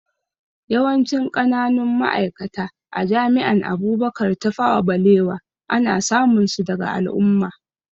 Yawancin ƙananun ma'aikata a jami'an Abubakar Tafawa Balewa ana samun su daga al'umma